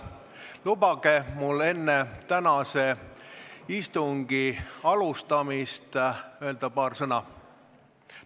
Lubage mul enne tänase istungi alustamist paar sõna öelda.